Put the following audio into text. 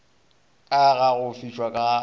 ka ga go fišwa ga